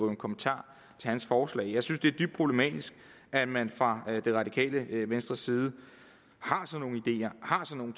en kommentar til hans forslag jeg synes at det er dybt problematisk at man fra det radikale venstre side har sådan